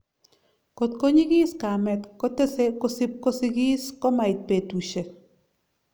kot ko nyigis kamet kotese kosipkosikis komait betusiek